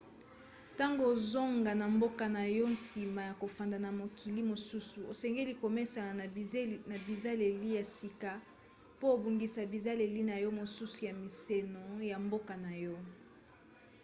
ntango ozonga na mboka na yo nsima ya kofanda na mokili mosusu osengeli komesana na bizaleli ya sika po obungisa bizaleli na yo mosusu ya mimeseno ya mboka na yo